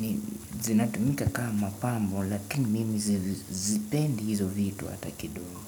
ni zinatumika kama pambo lakini mimi sizipendi hizo vitu hata kidogo.